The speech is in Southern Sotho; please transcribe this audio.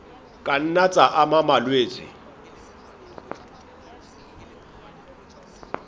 ka nna tsa ama malwetse